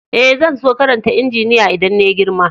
Eh, zan so karanta injiniya idan na yi girma.